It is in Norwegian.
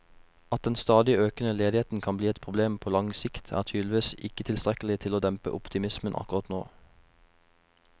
At den stadig økende ledigheten kan bli et problem på lang sikt, er tydeligvis ikke tilstrekkelig til å dempe optimismen akkurat nå.